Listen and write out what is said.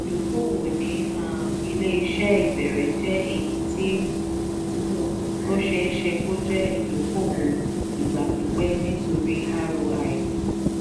ìdókòwò ní um ilé-iṣẹ́ ìbẹ̀rẹ̀ jẹ́ èyítí ó ṣeéṣe kó jẹ́ ìdókòwò ìgbà pípẹ́ nítorí roi.